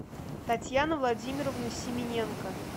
татьяна владимировна семененко